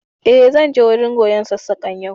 Eh, zan je wurin koyon Sassaƙan yau